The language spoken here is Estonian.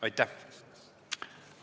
Aitäh!